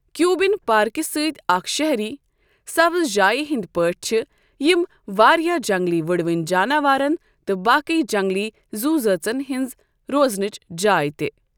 Cuban پارکہِ سۭتۍ اکھ شہری سبز جایہِ ہنٛدۍ پٲٹھۍ چھِ یم واریاہ جنگلی وٕڑوٕنۍ جاناوارن تہٕ باقی جنگلی زُو زٲژَن ہنٛزٕ روزنٕچ جاے تہِ۔